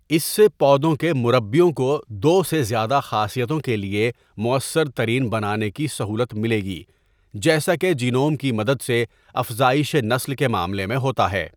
اس سے پودوں کے مُربّیوں کو دو سے زیادہ خاصیتوں کے لیے مؤثر ترین بنانے کی سہولت ملے گی جیسا کہ جینوم کی مدد سے افزائشِ نسل کے معاملے میں ہوتا ہے۔